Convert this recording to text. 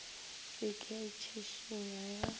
se ke ya itšhišinya ya